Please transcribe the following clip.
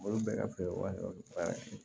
Olu bɛɛ ka feere waati dɔ bɛ baara kɛ